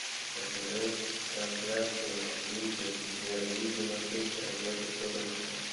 посмотреть трансляцию английской премьер лиги манчестер против тоттенхэма